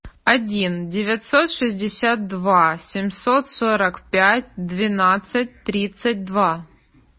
один девятьсот шестьдесят два семьсот сорок пять двенадцать тридцать два